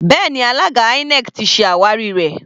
Bẹ́ẹ̀ni, alága INEC ti se àwárí rẹ.